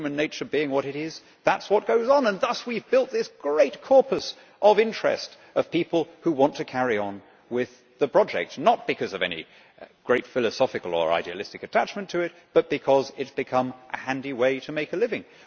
Human nature being what it is, that is what goes on and thus we have built this great corpus of interest of people who want to carry on with the project, not because of any great philosophical or idealistic attachment to it, but because it has become a handy way to make a living.